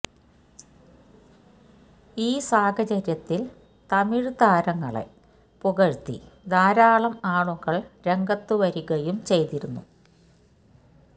ഈ സാഹചര്യത്തില് തമിഴ്താരങ്ങളെ പുകഴ്ത്തി ധാരാളം ആളുകള് രംഗത്തു വരികയും ചെയ്തിരുന്നു